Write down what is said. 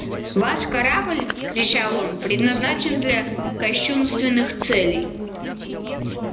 ваш корабль вскричал он предназначен для кощунственных целей